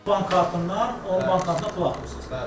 bank kartından o bankına pul atırsınız, bəli.